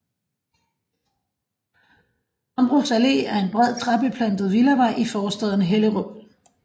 Hambros Allé er en bred træbeplantet villavej i forstaden Hellerup